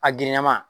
A girinna ma